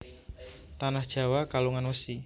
Tanah Jawa kalungan wesi